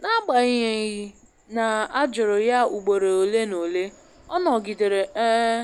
N'agbanyeghị na a jụrụ ya ugboro ole n'ole, ọ nọgidere um